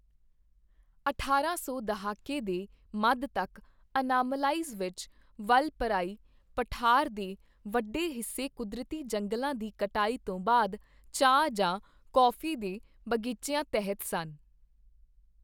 ਅਠਾਰਾਂ ਸੌ ਦਹਾਕੇ ਦੇ ਮੱਧ ਤੱਕ, ਅਨਾਮਲਾਈਜ਼ ਵਿੱਚ ਵਲਪਰਾਈ ਪਠਾਰ ਦੇ ਵੱਡੇ ਹਿੱਸੇ ਕੁਦਰਤੀ ਜੰਗਲਾਂ ਦੀ ਕਟਾਈ ਤੋਂ ਬਾਅਦ ਚਾਹ ਜਾਂ ਕੌਫੀ ਦੇ ਬਗੀਚਿਆਂ ਤਹਿਤ ਸਨ।